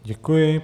Děkuji.